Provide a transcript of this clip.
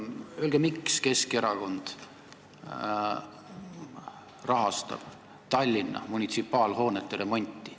Öelge, miks Keskerakond rahastab Tallinna munitsipaalhoonete remonti.